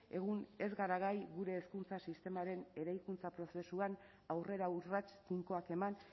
egun ez gara gai gure hezkuntza sistemaren eraikuntza prozesuan aurrera urrats tinkoak eman